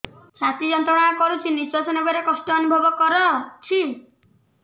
ଛାତି ଯନ୍ତ୍ରଣା କରୁଛି ନିଶ୍ୱାସ ନେବାରେ କଷ୍ଟ ଅନୁଭବ କରୁଛି